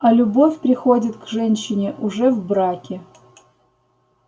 а любовь приходит к женщине уже в браке